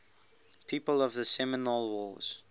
people of the seminole wars